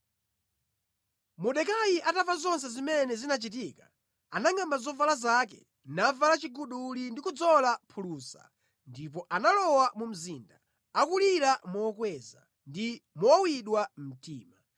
Mordekai atamva zonse zimene zinachitika, anangʼamba zovala zake, navala chiguduli ndi kudzola phulusa, ndipo analowa mu mzinda, akulira mokweza ndi mowawidwa mtima.